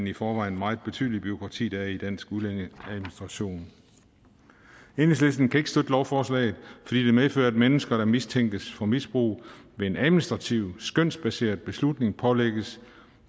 i forvejen meget betydelige bureaukrati der er i dansk udlændingeadministration enhedslisten kan ikke støtte lovforslaget fordi det medfører at mennesker der mistænkes for misbrug ved en administrativ skønsbaseret beslutning pålægges